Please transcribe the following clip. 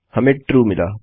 हमें ट्रू मिला